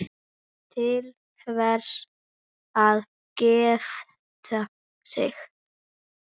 Til hvers að gifta sig?